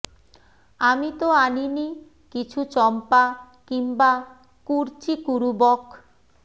আমি তো আনি নি কিছু চম্পা কিংবা কুর্চি কুরুবক